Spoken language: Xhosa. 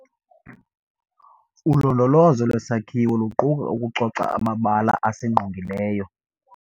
Ulondolozo lwesakhiwo luquka ukucoca amabala asingqqongileyo.